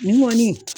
Nin kɔni